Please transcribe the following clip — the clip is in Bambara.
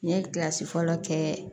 N ye kilasi fɔlɔ kɛ